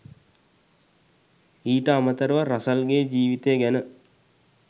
ඊට අමතරව රසල්ගේ ජීවිතය ගැන